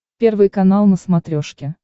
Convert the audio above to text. первый канал на смотрешке